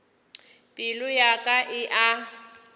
pelo ya ka e a